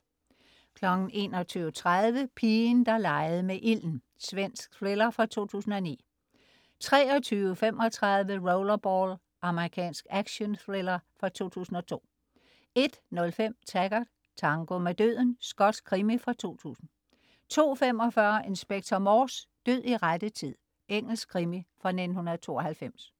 21.30 Pigen der legede med ilden. Svensk thriller fra 2009 23.35 Rollerball. Amerikansk actionthriller fra 2002 01.05 Taggart: Tango med døden. Skotsk krimi fra 2000 02.45 Inspector Morse: Død i rette tid. Engelsk krimi fra 1992